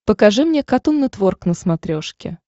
покажи мне катун нетворк на смотрешке